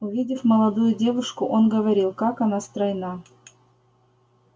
увидев молодую девушку он говорил как она стройна